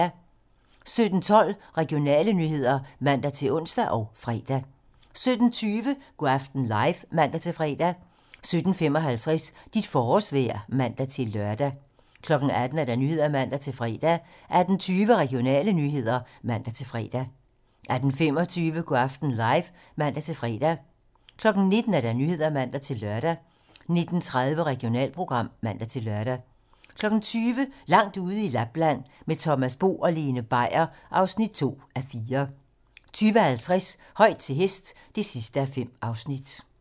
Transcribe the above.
17:12: Regionale nyheder (man-ons og fre) 17:20: Go' aften live (man-fre) 17:55: Dit forårsvejr (man-lør) 18:00: 18 Nyhederne (man-fre) 18:20: Regionale nyheder (man-fre) 18:25: Go' aften live (man-fre) 19:00: 19 Nyhederne (man-lør) 19:30: Regionalprogram (man-lør) 20:00: Langt ude i Lapland - Med Thomas Bo og Lene Beier (2:4) 20:50: Højt til hest (5:5)